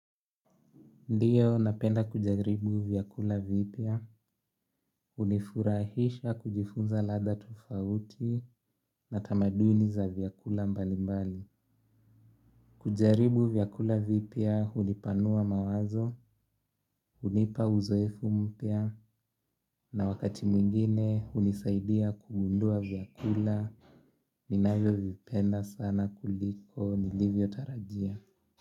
Ndiyo napenda kujaribu vyakula vipya hunifurahisha kujifunza ladha tofauti na tamaduni za vyakula mbali mbali. Kujaribu vyakula vipya hunipanua mawazo hunipa uzoefu mpya na wakati mwingine hunisaidia kugundua vyakula ninavyovipenda sana kuliko nilivyotarajia.